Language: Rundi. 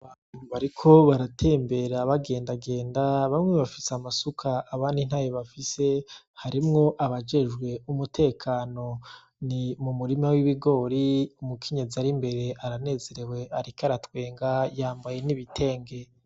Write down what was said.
Abantu bariko baratembera bagendagenda bamwe bafise amasuka abandi ntayo bafise harimwo abajejwe umutekano ni m'umurima w'ibigori umukenyezi ari imbere aranezerewe ariko aratwenga yambaye n'ibitenge.